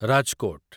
Rajkot